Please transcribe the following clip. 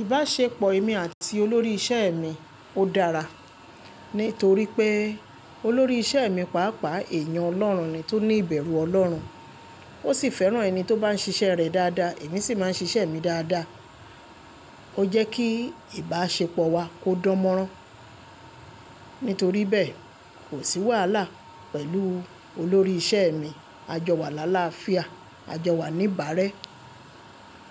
Ìbáṣepọ̀ èmi àti olórí iṣẹ́ mi ó dára, nítorí pé olórí iṣẹ́ mi, pàápàá èèyàn Ọlọ́run ni tó ní ìbẹ̀rù Ọlọ́run. Ó sì fẹ́ràn ẹni tó bá ń ṣiṣẹ́ rẹ̀ dáadáa, èmi sì máa ń ṣiṣẹ́ mi dáadáa. Ó jẹ́ kí ìbáṣepọ̀ wa kó dánmọ́rán. Nítorí bẹ́ẹ̀, kò sí wàhálà pẹ̀lú olórí iṣẹ́ mi. A jọ wà lálafíà, a jọ wà ní ìbárẹ́,